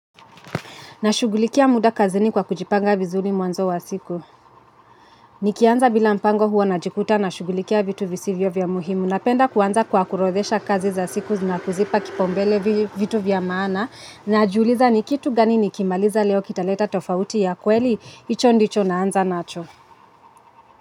Na shughulikia muda kazini kwa kujipanga vizuri mwanzo wa siku. Nikianza bila mpango huwa najikuta na shughulikia vitu visivyo vya muhimu. Napenda kuanza kwa kuorodhesha kazi za siku na kuzipa kipaumbele vitu vya maana. Najiuliza nikitu gani nikimaliza leo kita leta tofauti ya kweli. Icho ndicho naanza nacho.